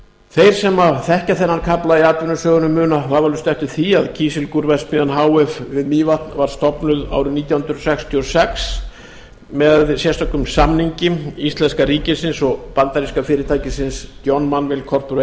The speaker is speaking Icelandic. þeir sem þekkja þennan kafla í atvinnusögunni muna vafalaust eftir því að kísilgúrverksmiðjan h f við mývatn var stofnuð árið nítján hundruð sextíu og sex með sérstökum samningi íslenska ríkisins og bandaríska fyrirtækisins john